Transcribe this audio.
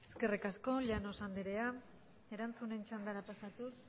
eskerrik asko llanos andrea erantzunen txandara pasatuz